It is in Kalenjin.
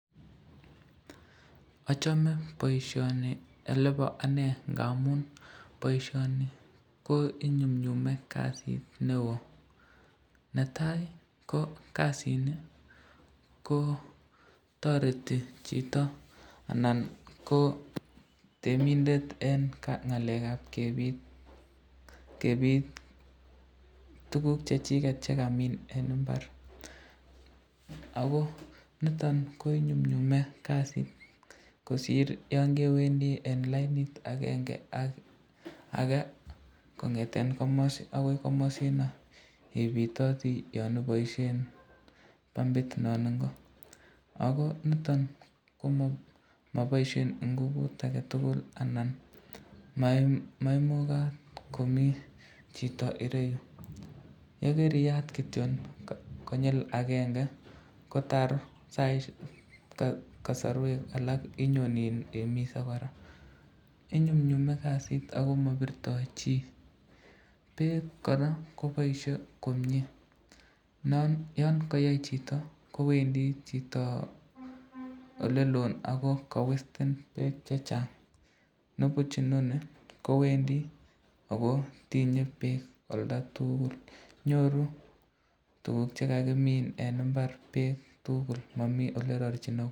Achame boisyoni olebo ane ngamun boisyoni ko inyumnyume kasit neo, netai ko kasini ko toreti chito anan ko temindet eng ngalekab kebit tukuk chrchiket chekamin eng imbar, ako niton ko inyumnyume kasit kosir yon kewendi end lainit akenge ak ake kongeten komasitet akoi komasino, ibitoti yon iboishen pambit non info, ako niton komabaisyei ngubut ake tukul anan maimukat komi chito ireyu, yekariyat kityon konyil akenge kotar kasarwek alak imise koraa, inyumnyume kasit ako mabirto chi, bek koraa koboisye komnye, yon kayait chito, kowendi chito olelo ako kawesten bek chechang, nipuch inoni kowendi ako tine bek olda tukul, nyoru tukuk chekakimin eng imbar bek tukul, ako mami olerarchin.